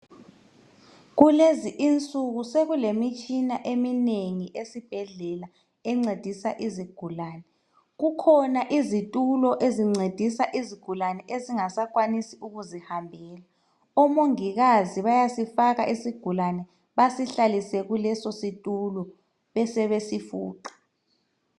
Kulezi insuku sekulemtshina eminengi esibhedlela encedisa izigulane. Kukhona izitulo ezincedisa izigulane ezingasakwanisi ukuzihambela. Omongikazi bayasifaka isigulane basihlalise kuleso situlo besebesifuqa.